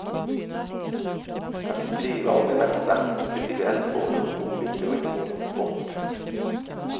Han fick skriva om det mesta, inklusive eldsvådor och olyckor och inte minst sport.